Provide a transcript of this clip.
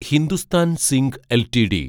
Hindustan zinc LTD